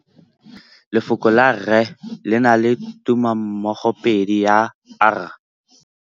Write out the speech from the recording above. Lefoko la rre, le na le tumammogôpedi ya, r.